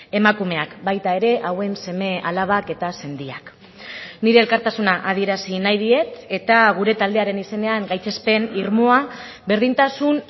emakumeak baita ere hauen seme alabak eta sendiak nire elkartasuna adierazi nahi diet eta gure taldearen izenean gaitzespen irmoa berdintasun